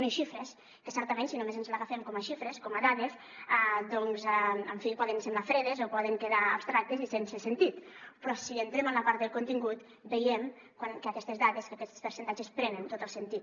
unes xifres que certament si només ens les agafem com a xifres com a dades en fi poden semblar fredes o poden quedar abstractes i sense sentit però si entrem en la part del contingut veiem que aquestes dades aquests percentatges prenen tot el sentit